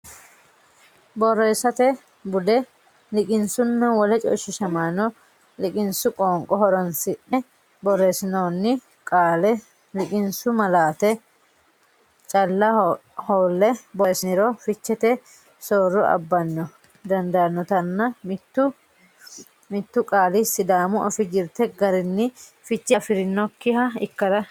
Borreessate Bude Liqinsunna Wole Coyshiishamaano Liqinsu qoonqo horonsi ne borreessinoonni qaale liqinsu malaate calla hoolle borreessiniro fichete soorro abbara dandaannotanna mitu mitu qaali Sidaamu Afii jirte garinni fiche afi rinokkiha ikkara.